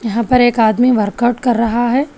यहां पे एक आदमी वर्कआउट कर रहा है।